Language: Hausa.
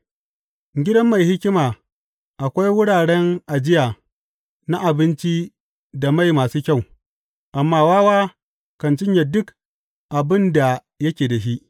A gidan mai hikima akwai wuraren ajiya na abinci da mai masu kyau, amma wawa kan cinye duk abin da yake da shi.